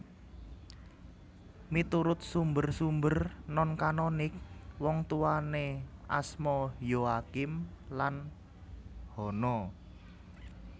Miturut sumber sumber non kanonik wongtuwané asma Yoakim lan Hana